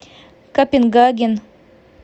копенгаген